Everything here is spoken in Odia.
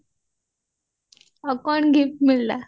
ଆଉ କଣ gift ମିଳିଲା